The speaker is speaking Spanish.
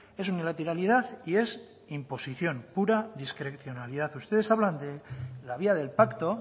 es unilateralidad y es imposición pura discrecionalidad ustedes hablan de la vía del pacto